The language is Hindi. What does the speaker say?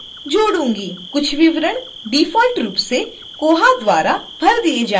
कुछ विवरण डिफ़ॉल्ट रूप से koha द्वारा भर दिए जाएंगे